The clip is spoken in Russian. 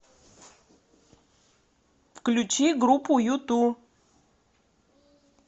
включи группу юту